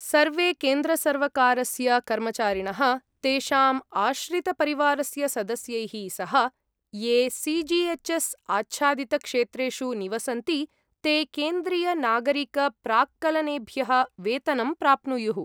सर्वे केन्द्रसर्वकारस्य कर्मचारिणः, तेषाम् आश्रितपरिवारस्य सदस्यैः सह, ये सि जि एच् एस् आच्छादितक्षेत्रेषु निवसन्ति, ते केन्द्रीयनागरिकप्राक्कलनेभ्यः वेतनं प्राप्नुयुः।